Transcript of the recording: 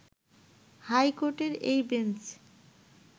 high কোর্টের এই bench